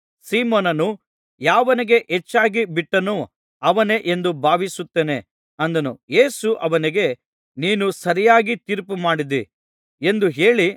ಸೀಮೋನನು ಯಾವನಿಗೆ ಹೆಚ್ಚಾಗಿ ಬಿಟ್ಟನೋ ಅವನೇ ಎಂದು ಭಾವಿಸುತ್ತೇನೆ ಅಂದನು ಯೇಸು ಅವನಿಗೆ ನೀನು ಸರಿಯಾಗಿ ತೀರ್ಪುಮಾಡಿದಿ ಎಂದು ಹೇಳಿ